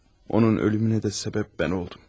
Onun ölümünə də səbəb mən oldum.